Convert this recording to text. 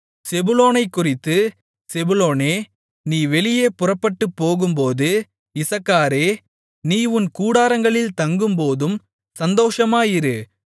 செபுலோனைக்குறித்து செபுலோனே நீ வெளியே புறப்பட்டுப்போகும்போதும் இசக்காரே நீ உன் கூடாரங்களில் தங்கும்போதும் சந்தோஷமாயிரு